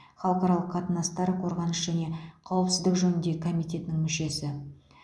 халықаралық қатынастар қорғаныс және қауіпсіздік жөніндегі комитетінің мүшесі